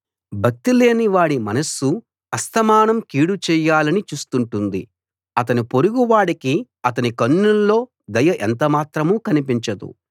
భక్తిలేని వాడి మనస్సు అస్తమానం కీడు చేయాలని చూస్తుంటుంది అతని పొరుగు వాడికి అతని కన్నుల్లో దయ ఎంతమాత్రం కనిపించదు